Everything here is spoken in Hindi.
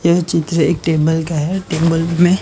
यह चित्र एक टेबल का है टेबल में--